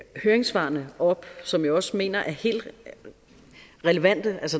høringssvarene op som jeg også mener er helt relevante